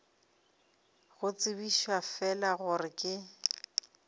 go tsebiša fela gore ke